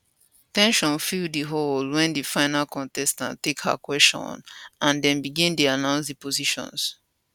ten sion fill di hall wen di final contestant take her kwesion and dem begin dey announce di positions